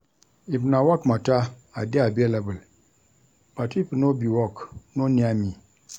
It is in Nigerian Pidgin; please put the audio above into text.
If na work mata, I dey available but if no be work, no near me.